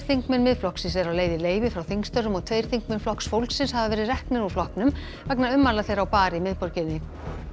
þingmenn Miðflokksins eru á leið í leyfi frá þingstörfum og tveir þingmenn Flokks fólksins hafa verið reknir úr flokknum vegna ummæla þeirra á bar í miðborginni